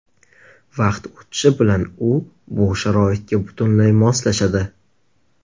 Vaqt o‘tishi bilan u bu sharoitga butunlay moslashadi.